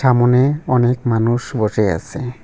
সামোনে অনেক মানুষ বসে আসে।